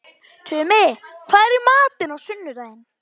Tumi, hvað er í matinn á sunnudaginn?